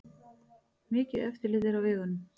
Mikið eftirlit er á vegunum